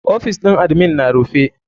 OFIs ɗin admin na rufe.